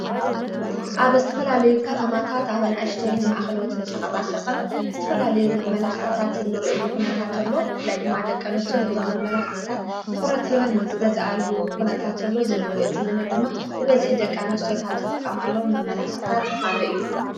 ኣብ እስትፈላልዩ ከተማታት ኣብንኣሽተይን ማኣኸለዎትን ሸቐጣ ሸቐጥ እስትፈላልዩ መመላኽዕታት እንርዑሉ ኹነታተሎ ላይ ድማ ደቀ ንስትዮ ነዞም መመላኽቕታት ትዉረት ሕይወን ዝገዝኣሉ ዂነታተሎ ዝንርዑ ዝልና ድማ ብፈዝኂ ደቃ ንስትዮኻብ ዝጥቃማለዉ መመላኽዕታት እዩ።